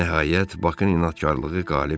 Nəhayət, Baxın inadkarlığı qalib gəldi.